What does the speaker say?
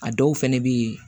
A dɔw fɛnɛ be yen